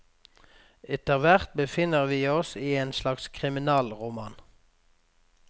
Etterhvert befinner vi oss i en slags kriminalroman.